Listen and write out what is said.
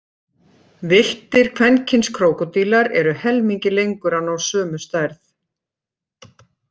Villtir kvenkyns krókódílar eru helmingi lengur að ná sömu stærð.